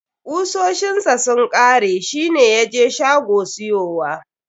Kusoshin sa sun kare, shi ne ya je shago siyowa.